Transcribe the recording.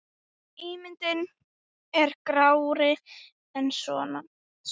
Ímyndin er grárri en svo.